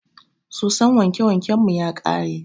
Soson wanke wanken mu ya ƙare.